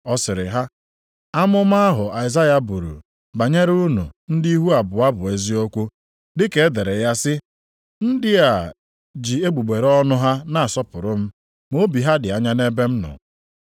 Ọ sịrị ha, “Amụma ahụ Aịzaya buru banyere unu ndị ihu abụọ bụ eziokwu; dị ka e dere ya sị, “ ‘Ndị a ji egbugbere ọnụ ha na-asọpụrụ m, ma obi ha dị anya nʼebe m nọ.